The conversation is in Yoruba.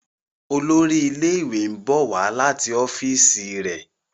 Olórí ilé ìwé nbọ wá láti ọfiisi re.